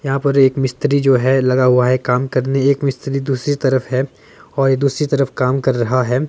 यहां पर एक मिस्त्री जो है लगा हुआ है काम करने एक मिस्त्री दूसरी तरफ है और दूसरी तरफ कम कर रहा है।